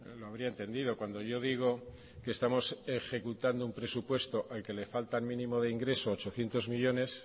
lo habría entendido cuando yo digo que estamos ejecutando un presupuesto al que le faltan mínimo de ingreso ochocientos millónes